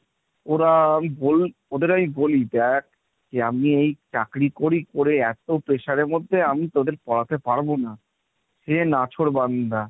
ওরা ওদের আমি বলি দেখ যে আমি এই চাকরি করি, করে এত pressure এর মধ্যে আমি তোদের পড়াতে পারবো না, সে নাছোড়বান্দা।